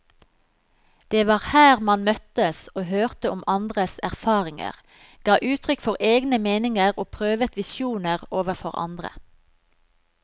Det var her man møttes og hørte om andres erfaringer, ga uttrykk for egne meninger og prøvet visjoner overfor andre.